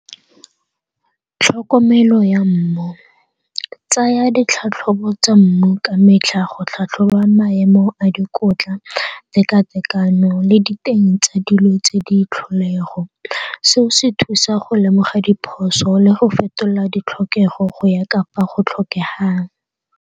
Tlhokomelo ya mmu, tsaya ditlhatlhobo tsa mmu ka metlha go tlhatlhoba maemo a dikotla, teka-tekano le diteng tsa dilo tse di tlholego. Seo se thusa go lemoga diphoso le go fetola ditlhokego go ya ka fa go tlhokegang.